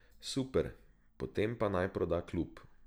Super, potem pa naj proda klub.